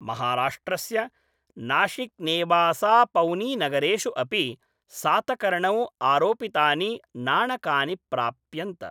महाराष्ट्रस्य नाशिक्नेवासापौनीनगरेषु अपि सातकर्णौ आरोपितानि नाणकानि प्राप्यन्त।